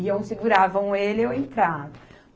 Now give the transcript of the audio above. Iam seguravam ele e eu entrava.